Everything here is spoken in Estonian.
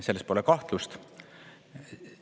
Selles pole kahtlust.